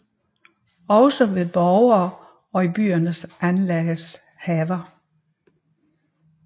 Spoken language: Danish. Også ved borgene og i byerne anlagdes haver